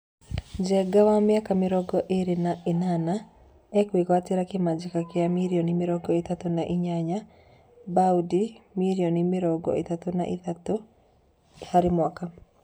Njenga, wa mĩaka mĩrongo ĩrĩ na ĩnana ekwĩgatwĩra kĩmanjĩka gĩa mirioni mĩrongo ĩtatũ na inyanya(baũndĩ mĩrioni mĩrongo ĩtatũ na ithatũ) harĩ mwaka.